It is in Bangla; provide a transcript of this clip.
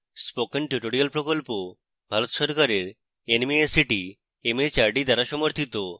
spoken tutorial প্রকল্প ভারত সরকারের nmeict mhrd দ্বারা পরিচালিত